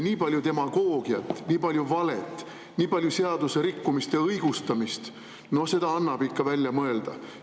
Nii palju demagoogiat, nii palju valet, nii palju seaduserikkumiste õigustamist annab ikka välja mõelda!